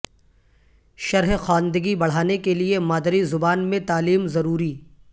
شرح خواندگی بڑھانے کےلیے مادری زبان میں تعلیم ضروری